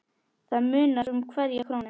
Það munar um hverja krónu.